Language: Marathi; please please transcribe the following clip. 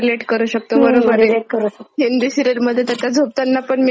हिंदी सीरिअल मध्ये तर त्या झोपतांना पण मेकअप आणि भरजरी साड्या घालून झोपतात.